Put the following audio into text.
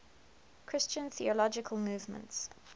christian theological movements